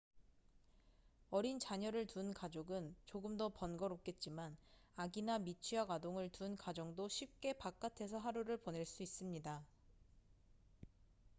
어린 자녀를 둔 가족은 조금 더 번거롭겠지만 아기나 미취학 아동을 둔 가정도 쉽게 바깥에서 하루를 보낼 수 있습니다